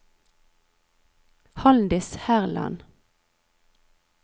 Halldis Herland